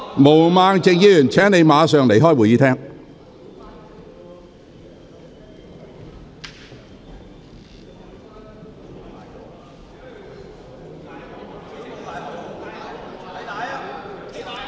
毛孟靜議員，請你立即離開會議廳。